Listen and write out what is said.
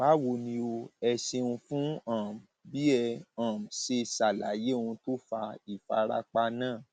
báwo ni o ẹ ṣeun fún um bí ẹ um ṣe ṣàlàyé ohun tó fa ìfarapa náà